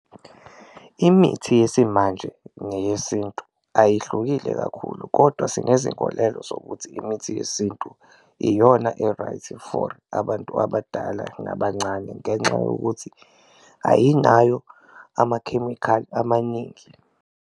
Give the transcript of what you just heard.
Imithi yesimanje neyesintu ayihlukile kakhulu kodwa sinezinkolelo zokuthi imithi yesintu iyona e-right for abantu abadala nabancane ngenxa yokuthi ayinayo amakhemikhali amaningi.